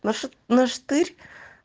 наша нашатырь